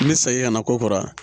N bɛ segin ka na ko kɔrɔ